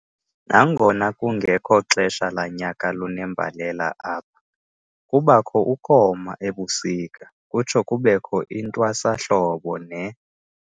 Nangona kungekho xesha lanyaka lunembalela apha, kubakho ukoma ebusika, kutsho kubekho intwasahlobo ne.